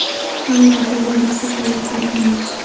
Hamda birgalikda qo‘llab-quvvatlaymiz.